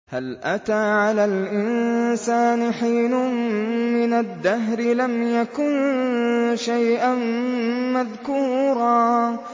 هَلْ أَتَىٰ عَلَى الْإِنسَانِ حِينٌ مِّنَ الدَّهْرِ لَمْ يَكُن شَيْئًا مَّذْكُورًا